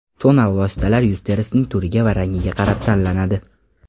Tonal vositalar yuz terisining turiga va rangiga qarab tanlanadi.